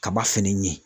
Kaba fɛnɛ ye